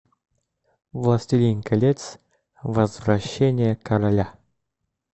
властелин колец возвращение короля